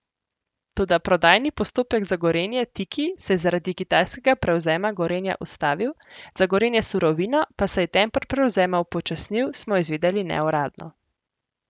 Toda prodajni postopek za Gorenje Tiki se je zaradi kitajskega prevzema Gorenja ustavil, za Gorenje Surovino pa se je tempo prevzema upočasnil, smo izvedeli neuradno.